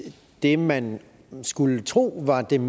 det man skulle tro var den